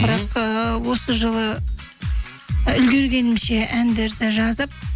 бірақ ыыы осы жылы үлгіргенімше әндерді жазып